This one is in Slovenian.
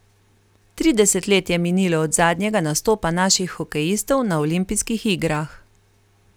Trideset let je minilo od zadnjega nastopa naših hokejistov na olimpijskih igrah.